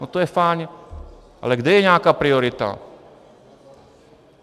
No to je fajn, ale kde je nějaká priorita?